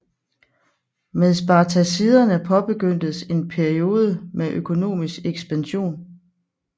Med Spartaciderne påbegyndtes en peiode med økonomisk ekspansion